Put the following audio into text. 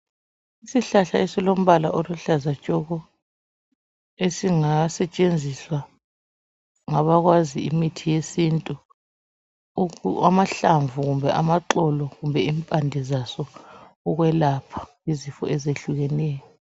Isihlahla esilombala oluhlaza tshoko esingasetshenziswa ngabakwazi imithi yesintu .Amahlamvu ,amaxolo kumbe impande zaso ukwelapha izifo ezehlukeneyo .